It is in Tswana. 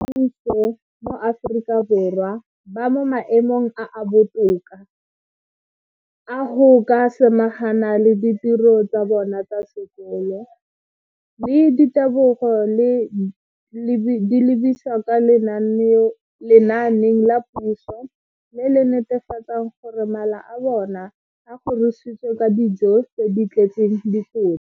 Dikolo tsa puso mo Aforika Borwa ba mo maemong a a botoka a go ka samagana le ditiro tsa bona tsa sekolo, mme ditebogo di lebisiwa kwa lenaaneng la puso le le netefatsang gore mala a bona a kgorisitswe ka dijo tse di tletseng dikotla.